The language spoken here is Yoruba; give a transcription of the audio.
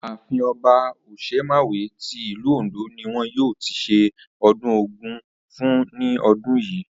Ààfin O̩ba Òs̩emàwé ti ìlú Òǹdó ni wo̩n yóò ti s̩e o̩dún Ògún fún ní o̩dún yìí